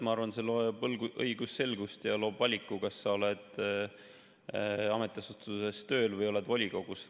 Ma arvan, see loob õigusselgust ja loob valiku, kas sa oled ametiasutuses tööl või oled volikogus.